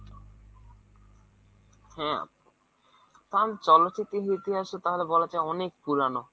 হ্যাঁঁ , কারণ চলচিত্ররইতিহাস তাহলে বলা যায় অনেক পুরনো।